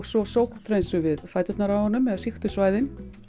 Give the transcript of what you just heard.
svo sótthreinsum við fæturna á honum eða sýktu svæðin